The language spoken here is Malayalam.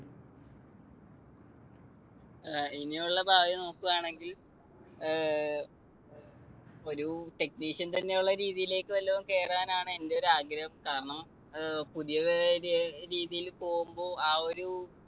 ങ്ഹാ ഇനിയുള്ള ഭാവി നോക്കുകയാണെങ്കിൽ ഏർ ഒരു technician തന്നെയുള്ള രീതിയിലേക്ക് വല്ലതും കേറാനാണ് എൻ്റെ ഒരു ആഗ്രഹം. കാരണം അഹ് പുതിയ രീതിയിൽ പോകുമ്പോൾ ആ ഒരു